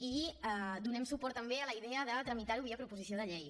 i donem suport també a la idea de tramitar ho via proposició de llei